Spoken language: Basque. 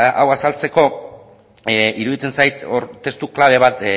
hau azaltzeko iruditzen zait hor testu klabe bat